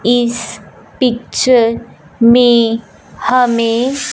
इस पिक्चर में हमें--